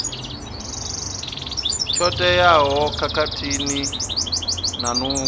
tsho teaho khathihi na nungo